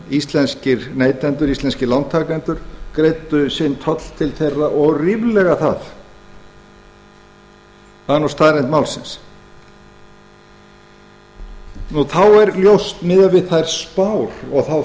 íslenskir neytendur íslenskir lántakendur greiddu sinn toll til þeirra og ríflega það það er staðreynd málsins þá er ljóst miðað við þær spár og þá